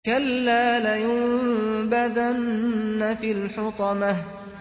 كَلَّا ۖ لَيُنبَذَنَّ فِي الْحُطَمَةِ